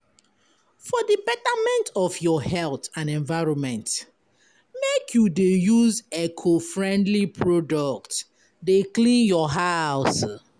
For di betterment of your health and environment, make you dey use eco-friendly product dey clean your house.